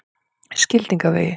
Skildingavegi